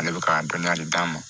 Ale bɛ ka dɔnniya de d'a ma